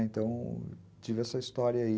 Então, tive essa história aí.